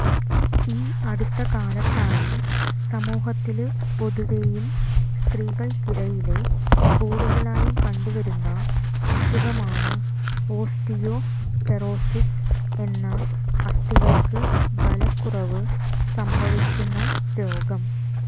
ഈ അടുത്ത കാലത്തായി സമൂഹത്തില് പൊതുവെയും സ്ത്രീകള്ക്കിടയില് കൂടുതലായും കണ്ടുവരുന്ന അസുഖമാണ് ഓസ്റ്റിയോപൊറോസിസ് എന്ന അസ്ഥികള്ക്ക് ബലക്കുറവ് സംഭവിക്കുന്ന രോഗം